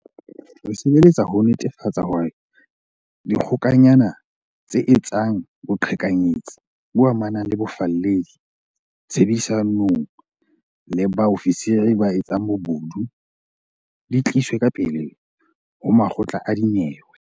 Re sebeletsa ho netefatsa hore dikgokanyana tse etsang boqhekanyetsi bo amanang le bofalledi, tshebedisanong le bao fisiri ba etsang bobodu, di tliswe ka pele ho makgotla a dinyewe.